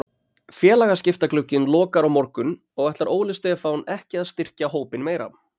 Félagaskiptaglugginn lokar á morgun og ætlar Óli Stefán ekki að styrkja hópinn meira.